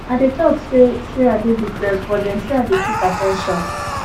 i dey tok sey sey i dey depressed but dem say i dey seek at ten tion